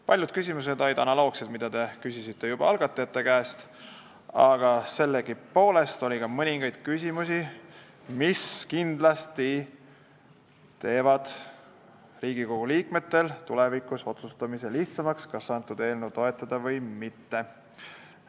Paljud küsimused olid analoogsed, mida te küsisite juba algatajate esindaja käest, aga oli ka mõningaid küsimusi, mis kindlasti teevad Riigikogu liikmetel lihtsamaks tulevikus otsustada, kas eelnõu toetada või mitte.